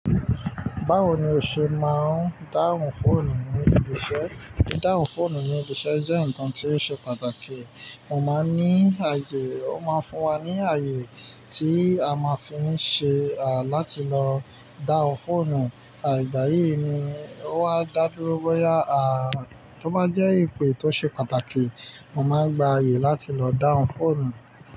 Báwo ni o ṣe máa ń dáhùn fóònù ní ibi iṣẹ́? Dáhùn fóònù ni ibi iṣẹ jẹ nkan ti o ṣe pàtàkì. Mo máa ń ní àyè, ó máa ń fún wa ní àyè tí a máa fi ń ṣe, láti lọ dáhùn fóònù. Ìgbà yìí ni ó wa dá dúró bóyá, tó bá jẹ́ ìpè tó ṣe pàtàkì, mo máa n gba àyè láti lọ dáhùn fóònù.